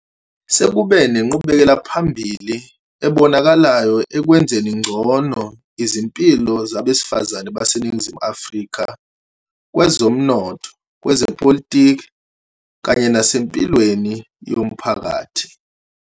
Sekube nenqubekelaphambili ebonakalayo ekwenzeni ngcono izimpilo zabesifazane baseNingizimu Afrika kwezomnotho, kwezepolitiki kanye nasempilweni yomphakathi.